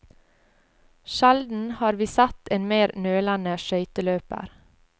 Sjelden har vi sett en mer nølende skøyteløper.